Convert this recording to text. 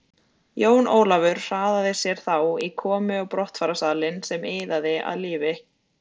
Jón Ólafur hraðaði sér þá í komu og brottfararsalinn sem iðaði af lífi.